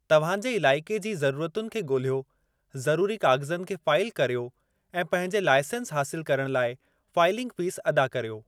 तव्हां जे इलाइक़े जी ज़रुरतुनि खे ॻोल्हियो, ज़रूरी काग़ज़नि खे फ़ाइल करियो, ऐं पंहिंजे लाइसंस हासिल करणु लाइ फ़ाइलिंग फ़ीस अदा करियो।